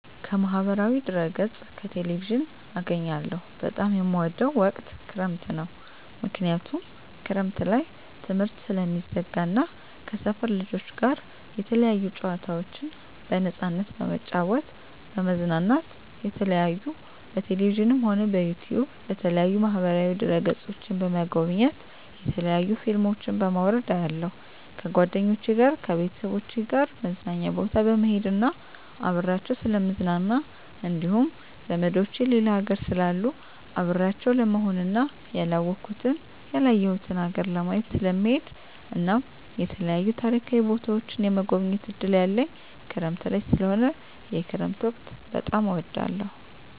ከማህበራዊ ድህረገፅ ከቴሌቪዥን አገኛለሁ በጣም የምወደዉ ወቅት ክረምት ነዉ ምክንያቱም ክረምት ላይ ትምህርት ስለሚዘጋ እና ከሰፈር ልጆች ጋር የተለያዩ ጨዋታዎችን በነፃነት በመጫወት በመዝናናት የተለያዩ በቴሌቪዥንም ሆነ በዩቱዩብ በተለያዩ ማህበራዋ ድህረ ገፆችን በመጎብኘት የተለያዩ ፊልሞችን በማዉረድ አያለሁ ከጓደኞቸ ጋር ከቤተሰቦቸ ጋር መዝናኛ ቦታ በመሄድና አብሬያቸዉ ስለምዝናና እንዲሁም ዘመዶቸ ሌላ ሀገር ስላሉ አብሬያቸው ለመሆንና ያላወኩትን ያላየሁትን ሀገር ለማየት ስለምሄድ እናም የተለያዩ ታሪካዊ ቦታዎችን የመጎብኘት እድል ያለኝ ክረምት ላይ ስለሆነ የክረምት ወቅት በጣም እወዳለሁ